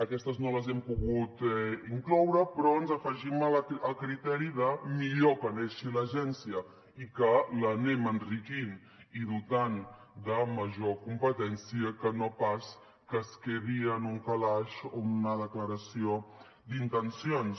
aquestes no les hem pogut incloure però ens afegim el criteri de millor que neixi l’agència i que l’anem enriquint i dotant de major competència que no pas que es quedi en un calaix o en una declaració d’intencions